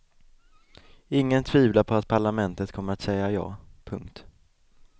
Ingen tvivlar på att parlamentet kommer att säga ja. punkt